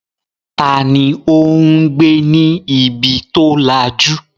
Ta ni ó ń gbé ní ibi tó lajú?